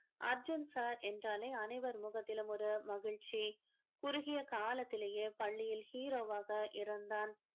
Arjun sir என்றாலே அனைவர் முகத்திலும் ஒரு மகிழ்ச்சி குறுகிய காலத்திலேயே பள்ளியில் hero வாக இருந்தான்